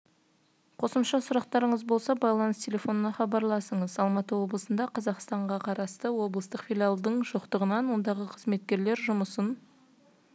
қосымша сұрақтарыңыз болса байланыс телефонына хабарласыңыз алматы облысында қазақстан қарасты облыстық филиалдың жоқтығынан ондағы қызметкерлер жұмысын